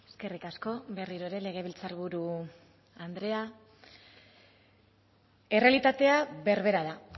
eskerrik asko berriro ere legebiltzarburu andrea errealitatea berbera da